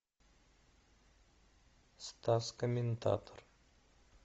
стас комментатор